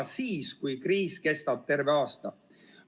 Nii suur on ta siis, kui kriis kestab terve aasta.